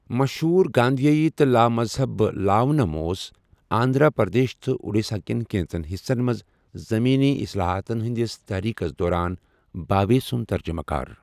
مشہوٗر گاندھیائی تہٕ لامَزہب لاونم اوس آندھرا پردیش تہٕ اٗڈیسا كین كینژن حِصن منز زٔمینی اصلاحاتن ہندِس تٔحریٖکَس دوران بھاوے سٗند ترجمہٕ كار ۔